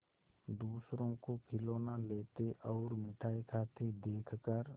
दूसरों को खिलौना लेते और मिठाई खाते देखकर